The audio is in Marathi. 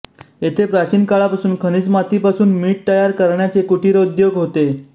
येथे प्राचीन काळापासून खनिजमातीपासून मीठ तयार करण्याचे कुटिरोद्योग होते